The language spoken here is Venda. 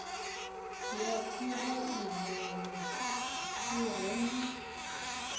ya phuraivele i re na